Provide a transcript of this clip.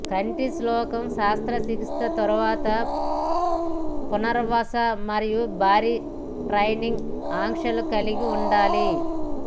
కంటిశుక్లం శస్త్రచికిత్స తర్వాత పునరావాస మరియు భారీ ట్రైనింగ్ ఆంక్షలు కలిగి ఉండాలి